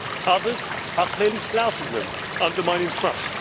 the rules others are clearly flouting them, undermining